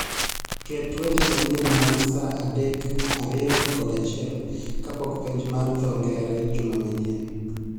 Ket weche manyien mag saa adek, ariyo kod achiel kapok penj mar dho ngere juma manyien.